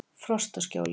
Frostaskjóli